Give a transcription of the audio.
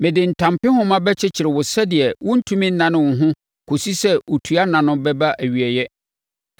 Mede ntampehoma bɛkyekyere wo sɛdeɛ worentumi nnane wo ho kɔsi sɛ otua nna no bɛba nʼawieeɛ.